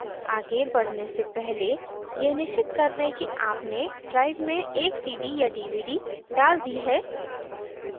आगे बढ़ने से पहले यह निश्चित कर लें कि आपने drive में एक cd या dvd डाल दी है